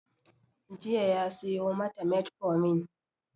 Jiya ya siyo mata metformin